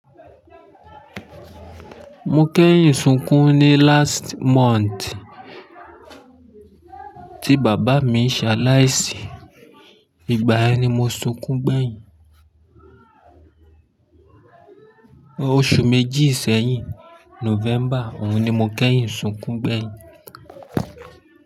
Mo kẹ́yìn sunkún ní last month, tí bàbá mi ṣaláìsí. Ìgbà yẹn ni mo sunkún gbẹ̀yìn. Oṣù méjì sẹ́yìn, November òun ni mo kẹ́yìn sunkún gbẹ̀yìn.